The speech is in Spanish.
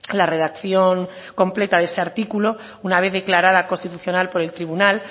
la redacción completa de ese artículo una vez declarada constitucional por el tribunal